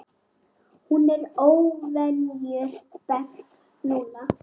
Hún er óvenju spennt núna.